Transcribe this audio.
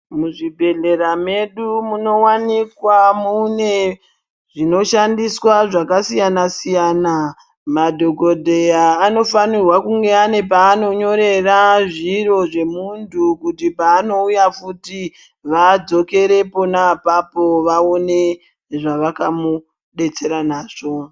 Muzvibhedhlera medu munowanikwa munezvinoshandiswa zvakasiyana siyana. Madhokodheya anofanira kunge ane panonyorera zviro zvemuntu kuti pa anouya futhi, vadzokere pona apapo, vawone zvavaka mudetsera nazvo.